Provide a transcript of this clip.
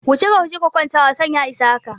Wuce kaje ka kwanta wasan ya isa haka!